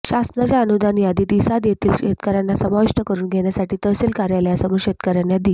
शासनाच्या अनुदान यादीत इसाद येथील शेतकर्यांना समाविष्ट करून घेण्यासाठी तहसील कार्यालयासमोर शेतकर्यांनी दि